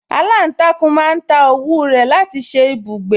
Aláǹtakùn máa ń ta òwú rẹ̀ láti ṣe ibùgbé